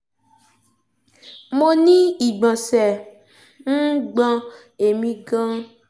mo ní ìgbọ̀nsẹ̀ um ń gbọ̀n èmi gan-an